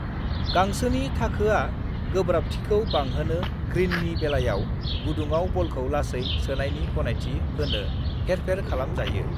गांसोनि थाखोआ गोब्राब्थिखौ बांहोनो ग्रीननि बेलायाव गुदुङाव बलखौ लासै सोनायनि गनायथि होनो हेरफेर खालाम जायो।